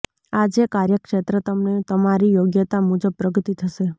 આજે કાર્યક્ષેત્રે તમને તમારી યોગ્યતા મુજબ પ્રગતિ થશે